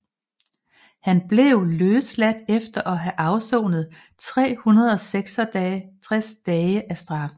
Han blev løsladt efter at have afsonet 366 dage af straffen